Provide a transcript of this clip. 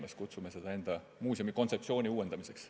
Me kutsume seda meie muuseumi kontseptsiooni uuendamiseks.